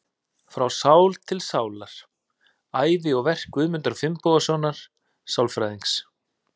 Frá sál til sálar: Ævi og verk Guðmundar Finnbogasonar sálfræðings.